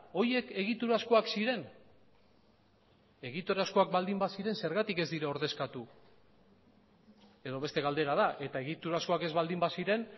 horiek egiturazkoak ziren egiturazkoak baldin baziren zergatik ez dira ordezkatu edo beste galdera da eta egiturazkoak ez baldin baziren